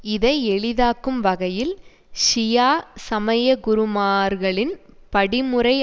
இதை எளிதாக்கும் வகையில் ஷியா சமயகுருமார்களின் படிமுறை